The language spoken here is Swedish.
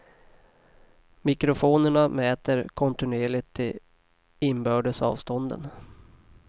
Mikrofonerna mäter kontinuerligt de inbördes avstånden.